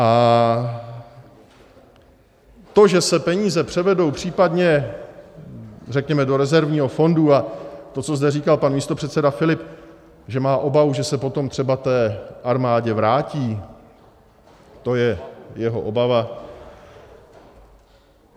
A to, že se peníze převedou případně, řekněme, do rezervního fondu, a to, co zde říkal pan místopředseda Filip, že má obavu, že se potom třeba té armádě vrátí, to je jeho obava.